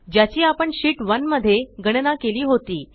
ज्याची आपण शीट 1 मध्ये गणना केली होती